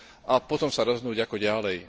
a potom sa rozhodnúť ako ďalej.